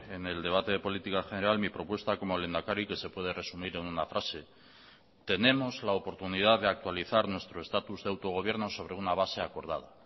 en el debate de política general mi propuesta como lehendakari que se puede resumir en una frase tenemos la oportunidad de actualizar nuestro estatus de autogobierno sobre una base acordada